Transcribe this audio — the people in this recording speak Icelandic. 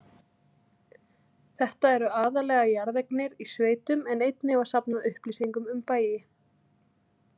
Þetta eru aðallega jarðeignir í sveitum en einnig var safnað upplýsingum um bæi.